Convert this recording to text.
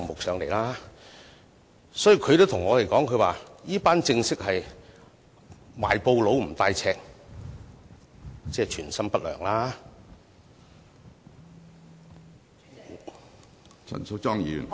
市民也對我們說，這群人是"賣布不帶尺——存心不良量"。